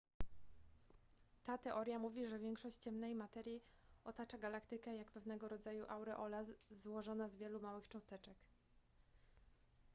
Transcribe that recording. ta teoria mówi że większość ciemnej materii otacza galaktykę jak pewnego rodzaju aureola złożona z wielu małych cząsteczek